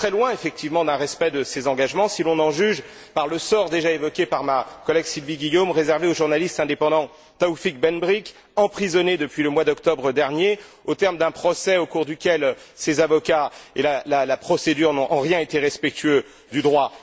Et on est très loin, effectivement, d'un respect de ces engagements, si l'on en juge par le sort, déjà évoqué par ma collègue Sylvie Guillaume, réservé au journaliste indépendant Taoufik Ben Brik, emprisonné depuis le mois d'octobre dernier, au terme d'un procès au cours duquel ses avocats et la procédure n'ont en rien été respectueux du droit.